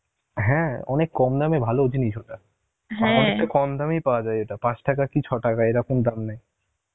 হ্যাঁ অনেক কম দামে ভালো জিনিস ওটা, কম দামেই পাওয়া যায় ওটা, পাঁচ টাকা কি ছয় টাকা এরকম দাম নেই